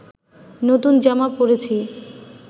নতুন জামা পরেছি